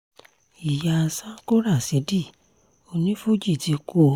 ìyá sanko rásidì onífuji ti kú o